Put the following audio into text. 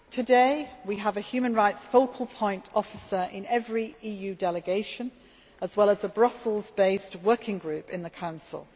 Today we have a human rights focal point officer in every EU delegation, as well as a Brussels based working group in the Council.